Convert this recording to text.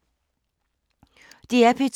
DR P2